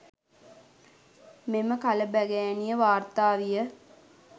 මෙම කලබගෑනිය වාර්තා විය